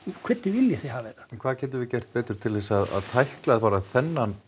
hvernig viljið þið hafa þetta en hvað getum við gert betur til að tækla bara þennan